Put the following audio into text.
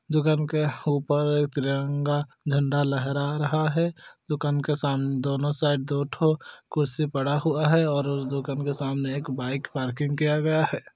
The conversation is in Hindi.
दुकान के ऊपर तिरंगा झंडा लहरा रहा है दुकान के साम-- दोनों साइड दो ठो कुर्सी पड़ा हुआ है और उस दुकान के सामने एक बाइक पार्किंग किया गया है।